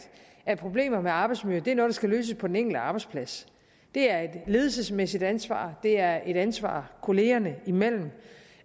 at problemer med arbejdsmiljøet er noget der skal løses på den enkelte arbejdsplads det er et ledelsesmæssigt ansvar det er et ansvar kollegaerne imellem